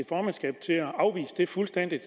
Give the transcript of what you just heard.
formandskabet til at afvise det fuldstændig